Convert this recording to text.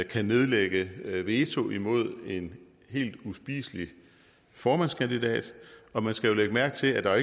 kan nedlægge veto imod en helt uspiselig formandskandidat og man skal jo lægge mærke til at der